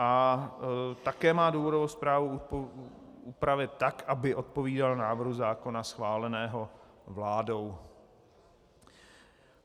A také má důvodovou zprávu upravit tak, aby odpovídala návrhu zákona schváleného vládou.